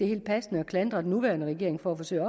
helt passende at klandre den nuværende regering for at forsøge